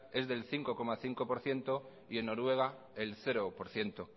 es del cinco coma cinco por ciento y en noruega el cero por ciento